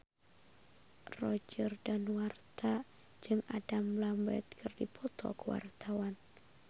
Roger Danuarta jeung Adam Lambert keur dipoto ku wartawan